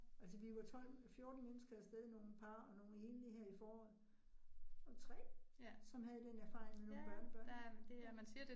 Altså vi var 12 14 mennesker af sted, nogle par og nogle enlige her i foråret, og 3 som havde den erfaring med nogle børnebørn ik ja